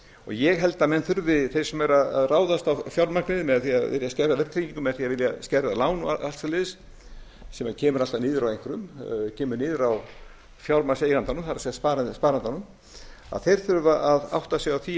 ég held að þeir sem eru að ráðast á fjármagnið með því að vilja skerða verðtryggingu með því að vilja skerða lán og allt svoleiðis sem kemur alltaf niður á einhverjum kemur niður á fjármagnseigandanum það er sparandanum þeir þurfa að átta sig á því